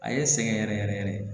A ye n sɛgɛn yɛrɛ yɛrɛ yɛrɛ de